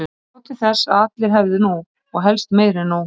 Ég sá til þess að allir hefðu nóg, og helst meira en nóg.